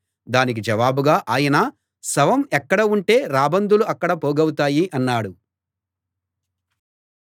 దానికి జవాబుగా ఆయన శవం ఎక్కడ ఉంటే రాబందులు అక్కడ పోగవుతాయి అన్నాడు